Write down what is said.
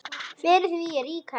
Fyrir því er rík hefð.